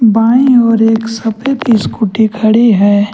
बाएं ओर एक सफेद स्कूटी खड़ी है।